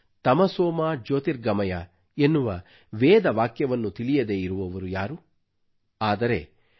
ತಮಸೋಮಾ ಜ್ಯೋತಿರ್ಗಮಯ ಎನ್ನುವ ವೇದ ವಾಕ್ಯವನ್ನು ತಿಳಿಯದೆ ಇರುವವರು ಯಾರು ಆದರೆ ಡಿ